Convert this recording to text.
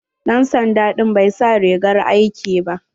Dan sanda ɗin bai sa rigar aiki ba.